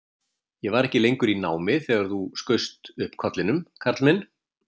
Ég var ekki lengur í námi þegar þú skaust upp kollinum, Karl minn